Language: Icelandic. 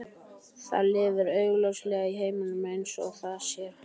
Það lifir augljóslega í heiminum eins og það sér hann.